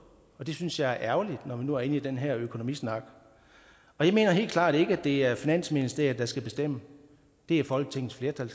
og det synes jeg er ærgerligt når vi nu er inde i den her økonomisnak jeg mener helt klart ikke at det er finansministeriet der skal bestemme det er folketingets flertal